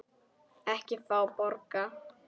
Ekki fá borga.